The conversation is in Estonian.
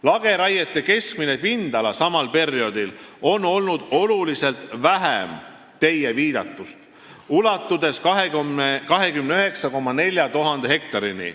Lageraiete keskmine pindala samal perioodil oli oluliselt väiksem teie viidatust, ulatudes 29 400 hektarini.